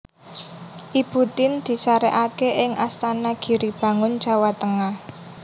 Ibu Tien disarèkaké ing Astana Giri Bangun Jawa Tengah